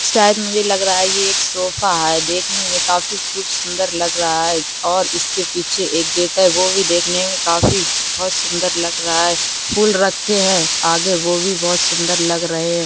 शायद मुझे लग रहा है ये एक सोफा है देखने में काफी खूब सुंदर लग रहा है और इसके पीछे एक गेट है वो भी देखने में काफी बहुत सुंदर लग रहा है फूल रखे हैं आगे वो भी बहुत सुंदर लग रहे हैं।